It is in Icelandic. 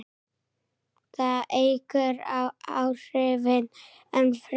Það eykur áhrifin enn frekar.